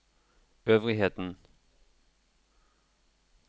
øvrigheten